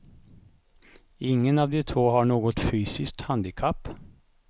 Ingen av de två har något fysiskt handikapp.